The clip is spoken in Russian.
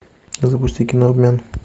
запусти кино обмен